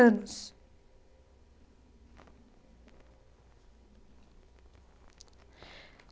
Anos.